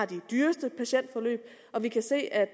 dyreste patientforløb og vi kan se at